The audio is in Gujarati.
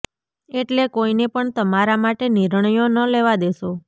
એટલે કોઇને પણ તમારા માટે નિર્ણયો ન લેવા દેશો